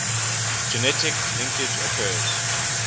genetic linkage occurs